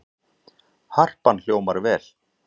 Harpan hljómar vel